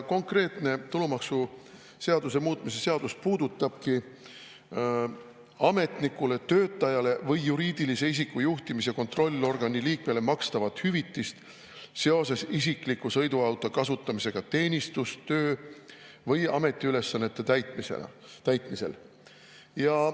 Konkreetne tulumaksuseaduse muutmise seaduse puudutabki ametnikule, töötajale või juriidilise isiku juhtimis- või kontrollorgani liikmele makstavat hüvitist seoses isikliku sõiduauto kasutamisega teenistus-, töö- või ametiülesannete täitmisel.